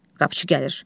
Qapıçı gəlir.